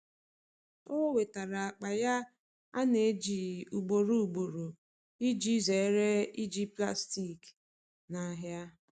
o nwetara akpa ya ana eji ugboro ugboro iji zere iji plastik na ahia